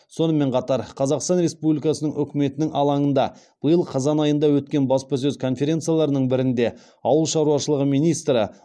сонымен қатар қазақстан республикасының үкіметінің алаңында биыл қазан айында өткен баспасөз конференцияларының бірінде ауыл шаруашылығы министрі